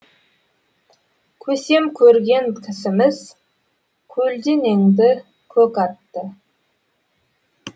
көсем көрген кісіміз көлденеңді көк атты